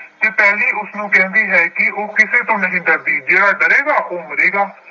ਤੇ ਪਹਿਲੀ ਉਸਨੂੰ ਕਹਿੰਦੀ ਹੈ ਕਿ ਉਹ ਕਿਸੇ ਤੋਂ ਨਹੀਂ ਡਰਦੀ, ਜਿਹੜਾ ਡਰੇਗਾ ਉਹ ਮਰੇਗਾ।